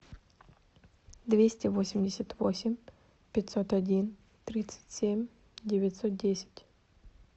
двести восемьдесят восемь пятьсот один тридцать семь девятьсот десять